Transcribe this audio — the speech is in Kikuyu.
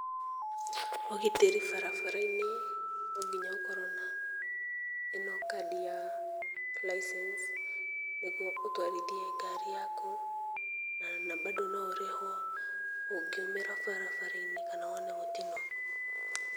Ũgitĩri barabara-inĩ no nginya ũkorwo na ĩno kadi ya license nĩguo ũtwarithie ngari yaku, na bandũ no ũrĩhwo ũngĩumĩra barabara-inĩ kana wone mũtino.